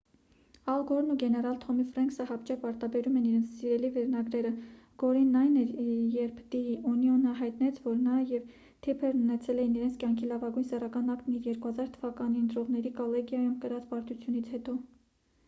ալ գորն ու գեներալ թոմի ֆրենքսը հապճեպ արտաբերում են իրենց սիրելի վերնագրերը գորինն այն էր երբ «դի օնիոն»-ը հայտնեց որ նա և թիփերն ունեցել էին իրենց կյանքի լավագույն սեռական ակտն իր՝ 2000 թ.-ի ընտրողների կոլեգիայում կրած պարտությունից հետո: